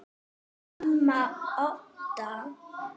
Amma Odda.